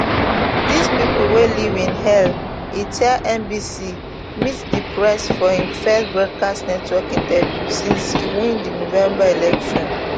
dis pipo dey live in hell e tell nbc meet the press for im first broadcast network interview since e win di november election